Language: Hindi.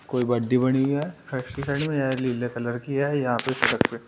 कोई बड्डी बड़ीं हैं फैक्ट्री साइड में यह नीले कलर की है। यहां पे --